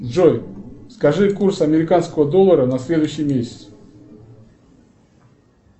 джой скажи курс американского доллара на следующий месяц